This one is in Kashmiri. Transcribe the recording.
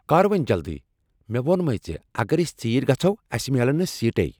کر وۄنۍ جلدی! مےٚ ووٚنمے ژےٚ اگر أسۍ ژیرۍ گژھو اسہ میلن نہٕ سیٖٹے۔